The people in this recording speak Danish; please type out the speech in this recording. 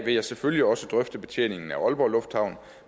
vil jeg selvfølgelig også drøfte betjeningen af aalborg lufthavn